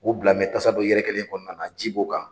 U bila tasa dɔ yɛrɛkɛlen kɔnɔna na ji b'o kan.